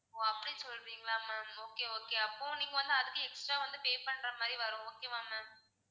ஓ அப்படி சொல்றீங்களா ma'am okay okay அப்போ நீங்க வந்து அதுக்கு extra வந்து pay பண்ற மாதிரி வரும் okay வா ma'am